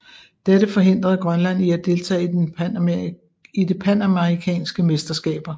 Dette forhindrede Grønland i at deltage i det panamerikanske mesterskaber